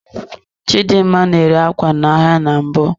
Chidimma na-ere ákwá n'ahịa na mbụ.